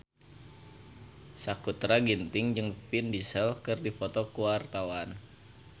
Sakutra Ginting jeung Vin Diesel keur dipoto ku wartawan